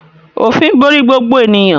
Òfin borí gbogbo ènìyàn